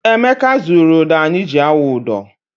Emeka zụrụ ụdọ anyị ji awụ ụdọ.